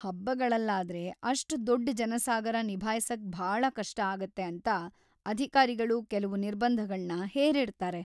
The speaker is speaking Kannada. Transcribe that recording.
ಹಬ್ಬಗಳಲ್ಲಾದ್ರೆ ಅಷ್ಟ್‌ ದೊಡ್ಡ್ ಜನಸಾಗರ ನಿಭಾಯ್ಸಕ್ ಭಾಳ ಕಷ್ಟ ಆಗತ್ತೆ ಅಂತ ಅಧಿಕಾರಿಗಳು ಕೆಲ್ವು ನಿರ್ಬಂಧಗಳ್ನ ಹೇರಿರ್ತಾರೆ.